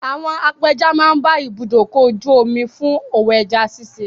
Àwọn apẹja máa ń bá ibùdókọ̀-ojú-omi fún òwò ẹja ṣiṣẹ́.